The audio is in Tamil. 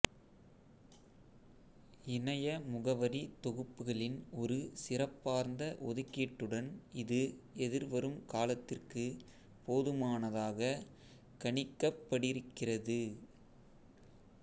இணைய முகவரி தொகுப்புகளின் ஒரு சிறப்பார்ந்த ஒதுக்கீட்டுடன் இது எதிர்வரும் காலத்திற்கு போதுமானதாக கணிக்கப்படிருக்கிறது